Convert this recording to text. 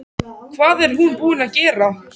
Hvað er hún búin að gera!